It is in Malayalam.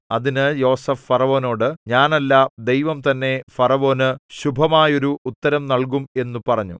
അതിന് യോസേഫ് ഫറവോനോട് ഞാനല്ല ദൈവം തന്നെ ഫറവോന് ശുഭമായോരു ഉത്തരം നല്കും എന്നു പറഞ്ഞു